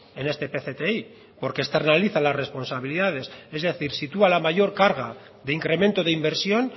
en este pcti porque esta realiza las responsabilidades es decir sitúa la mayor carga de incremento de inversión